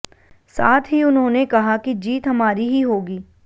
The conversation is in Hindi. साथ ही उन्होंने कहा कि जीत हमारी ही होगी